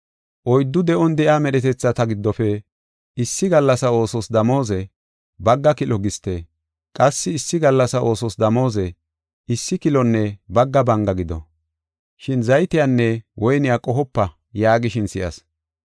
Oyddu de7on de7iya medhetethata giddofe, “Issi gallasa oosos damooze, bagga kilo giste; qassi issi gallasa oosos damooze, issi kilonne bagga banga gido. Shin zaytiyanne woyniya qohopa” yaagishin si7as.